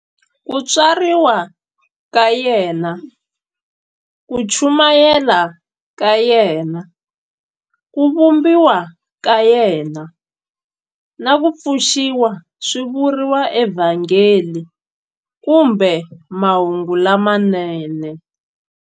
Ku tswariwa ka yena, ku chumayela ka yena, ku vambiwa ka yena, na ku pfuxiwa swi vuriwa eVhangeli kumbe"Mahungu lamanene".